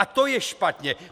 A to je špatně!